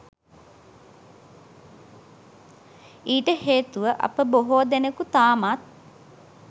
ඊට හේතුව අප බොහෝ දෙනෙකු තාමත්